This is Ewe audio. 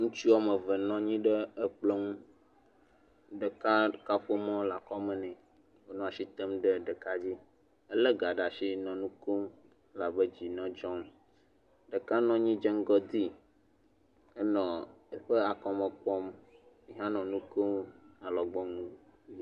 Ŋutsu woame eve nɔ anyi ɖe Kplɔ nu. Ɖeka kaƒomɔ le akɔ me ne. Enɔ asi tem ɖe ɖeka dzi. Ele ga ɖe asi nɔ nuƒlem ela be dzinɔ dzɔm, ɖeka nɔ anyi dze ŋgɔ dee, enɔ eƒe akɔme kpɔm nɔ nu kom, alɔgbɔnu.